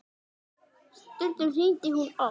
Stundum hringdi hún oft.